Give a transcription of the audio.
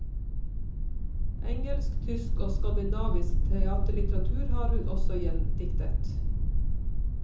Engelsk, tysk og skandinavisk teaterlitteratur har hun også gjendiktet.